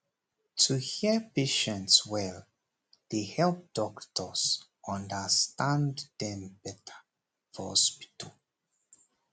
to hear patients well dey help doctors understand dem better for hospital